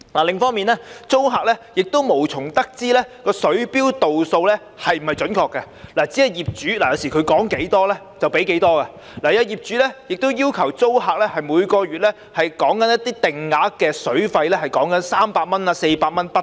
另一方面，租客無從得知水錶度數是否準確，有時只是業主說多少他們便要付多少，也有些業主會要求租客每月繳交定額水費，金額是300元至400元不等。